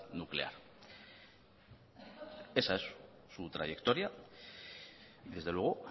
nuclear esa es su trayectoria desde luego